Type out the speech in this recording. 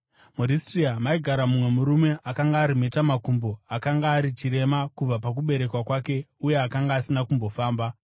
MuRistira maigara mumwe murume akanga ari mhetamakumbo, akanga ari chirema kubva pakuberekwa kwake uye akanga asina kumbofamba.